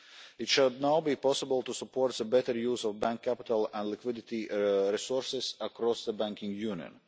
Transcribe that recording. It should now be possible to support a better use of bank capital and liquidity resources across the Banking Union.